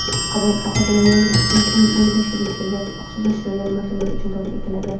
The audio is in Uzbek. Qabul faqatgina yangi tashkil etilgan ixtisoslashtirilgan maktablar uchun davom etadi.